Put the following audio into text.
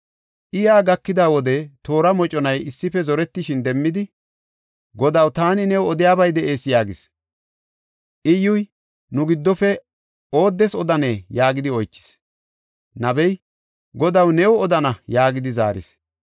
I yaa gakida wode toora moconay issife zoretishin demmidi, “Godaw, taani new odiyabay de7ees” yaagis. Iyyuy, “Nu giddofe ooddes odanee?” yaagidi oychis. Nabey, “Godaw, new odana” yaagidi zaaris.